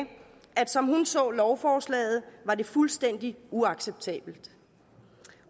som hun så lovforslaget var det fuldstændig uacceptabelt